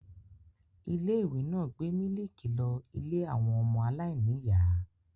Ilé-ìwé náà gbé mílíkì lọ ilé àwọn ọmọ aláìníìyá.